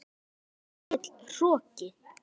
Of mikill hroki.